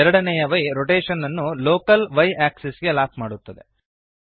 ಎರಡನೆಯ y rotation ಅನ್ನು local y axis ಗೆ ಲಾಕ್ ಮಾಡುತ್ತದೆ